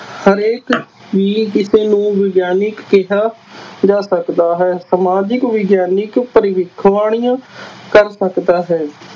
ਹਰੇਕ ਨੂੰ ਵਿਗਆਨਕ ਕਿਹਾ ਜਾ ਸਕਦਾ ਹੈ, ਸਮਾਜਿਕ ਵਿਗਿਆਨਕ ਭਵਿੱਖਬਾਣੀ ਕਰ ਸਕਦਾ ਹੈ।